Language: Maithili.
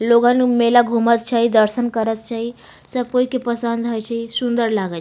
लोग अन मेला घुमल छै दर्शन करल हेय सब कोई के पसंद हेय छैसुंदर लागई --